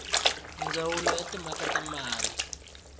ndzawulo ya timhaka ta mati